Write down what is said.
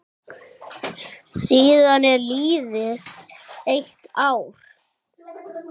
Síðan er liðið eitt ár.